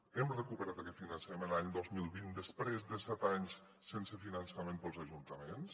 hem recuperat aquest finançament l’any dos mil vint després de set anys sense finançament per als ajuntaments